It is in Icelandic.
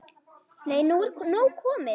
Nei, nú er nóg komið!